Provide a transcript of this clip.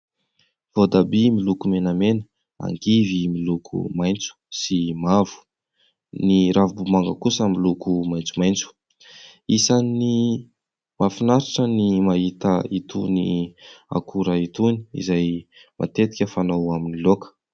Voatabia miloko menamena, angivy miloko maitso sy mavo, ny ravimbomanga kosa miloko maitsomaitso. Isan'ny mahafinaritra ny mahita itony akora itony izay matetika fanao amin'ny laoka.